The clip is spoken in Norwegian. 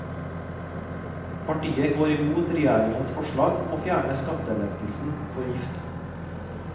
Partiet går imot regjeringens forslag om å fjerne skattelettelsen for gifte.